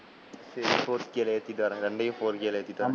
சரி, four k ல ஏத்துட்டு வரேன், ரெண்டையும் four k ல ஏத்துட்டு வரேன்,